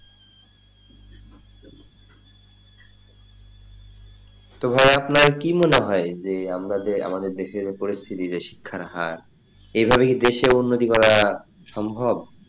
তো ভাই আপনার কি মনে হয় আমরা যে আমাদের যে দেশের পরিস্থিতি যে শিক্ষার হার এইভাবে দেশের উন্নতি করা সম্ভব,